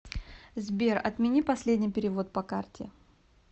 сбер отмени последний перевод по карте